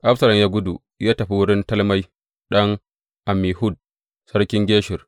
Absalom ya gudu ya tafi wurin Talmai ɗan Ammihud, sarkin Geshur.